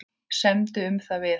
Semdu um það við hann.